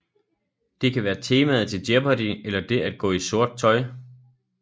Det kan være temaet til Jeopardy eller det at gå i sort tøj